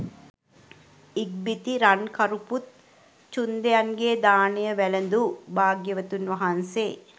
ඉක්බිති රන්කරුපුත් චුන්දයන්ගේ දානය වැළඳු භාග්‍යවතුන් වහන්සේ